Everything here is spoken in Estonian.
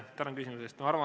Tänan küsimuse eest!